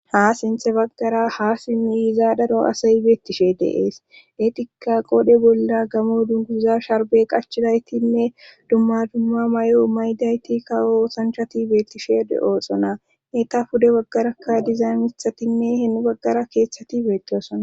Ha sinthe baggara ha simmi izaadaro asayi beettishe deees eetika qoode bolla gamo dunguza sharbe qachidaytinne dumma dumma may''o maydayti kawo osanchati beettishe de'oosona eta pude waggarakka dizaymiithatinne henu baggara keethsati beetoosona.